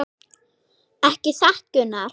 Ekki satt Gunnar?